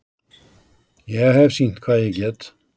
Ég hef sýnt hvað ég get.